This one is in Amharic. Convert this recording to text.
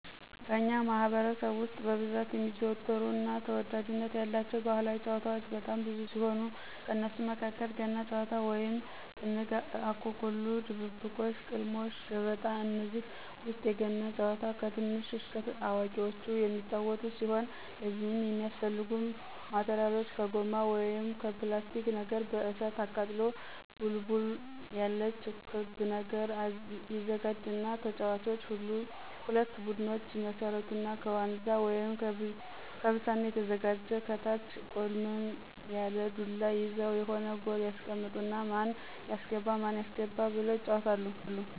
በእኛ ማህበረሰብ ውስጥ በብዛት የሚዘወተሩ እና ተወዳጅነት ያላቸው ባህላዊ ጭዋታዎች በጣም ብዙ ሲሆኑ ከነሱም መካከል ገና ጭዋታ ወይም ጥንግ፣ አኮኩሉ ድብብቆሽ፣ ቅልሞሽ፣ ገበጣ፣ ከነዚህ ውስጥ የገና ጭዋታን ከትንሽ እስከ አዋቁዎች የሚጫዎቱት ሲሆን ለዚህም የሚያስፈልጉ ማቴራሎች ከጎማ ወይም ከላስቲክ ነገር በእሳት አቃጥሎ ድቡልቡል ያለች ክብ ነገር ይዘጋጅና ተጫዋቾች ሁለት ቡድኖች ይመሰርቱና ከዋንዛ ወይም ከብሳና የተዘጋጀ ከታች ቆልመም ያለ ዱላ ይዘው የሆነ ጎል ያስቀምጡና ማን ያስገባ ማን ያስገባ ብለው ይጫዎታሉ።